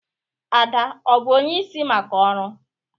Ada ọ bụ onyeisi maka ọrụ?